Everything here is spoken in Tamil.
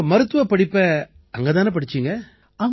உங்க மருத்துவப் படிப்பை அங்க தானே படிச்சீங்க